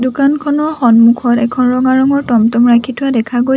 দোকানখনৰ সন্মুখত এখন ৰঙা ৰঙৰ টম-টম ৰাখি থোৱা দেখা গৈছে।